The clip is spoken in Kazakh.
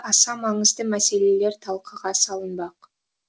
аса маңызды мәселелер талқыға салынбақ